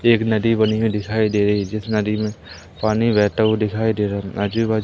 एक नदी बनी हुई दिखाई दे रही है जिस नदी में पानी बहता हुआ दिखाई दे रहा है। आजू बाजू--